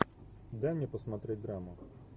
дай мне посмотреть драму